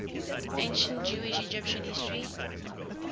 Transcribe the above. ancient jewish egyptian history